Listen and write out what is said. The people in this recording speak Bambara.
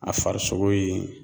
A farisogo ye